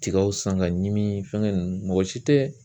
Tigaw san ka ɲimi fɛnkɛ ninnu, mɔgɔ si tɛ